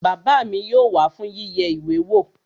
Bàbá mi yóò wá fún yíyẹ ìwé wò